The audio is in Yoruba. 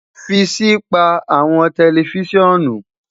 fi si pa awọn tẹlifisiọnu